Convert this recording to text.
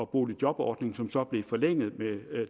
boligjobordning som så blev forlænget med